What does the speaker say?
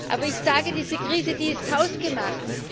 Aber ich sage, diese Krise, die ist hausgemacht!